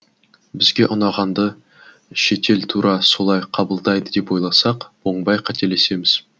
бізге ұнағанды шетел тура солай қабылдайды деп ойласақ оңбай қателесеміз